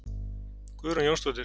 Guðrún Jónsdóttir.